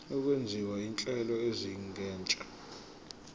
okwenziwa izinhlelo ezingenisa